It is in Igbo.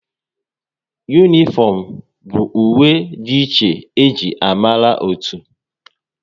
Unịfomu bụ uwe dị iche e ji amara otu